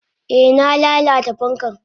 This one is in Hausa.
Eh na lalata fankan.